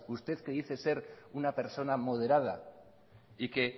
usted que dice ser una persona modera y que